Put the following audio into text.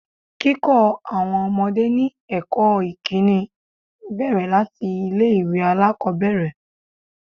Kíkọ́ àwọn ọmọdé ní ẹ̀kọ́ ìkíni bẹ̀rẹ̀ láti ilé ìwé alákòbẹ̀rẹ̀.